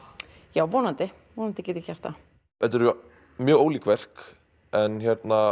já vonandi vonandi get ég gert það þetta eru mjög ólík verk en